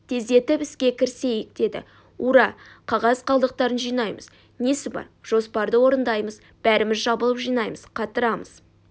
тездетіп іске кірісейік деді ура қағаз қалдықтарын жинаймыз несі бар жоспарды орындаймыз бәріміз жабылып жинаймыз қатырамыз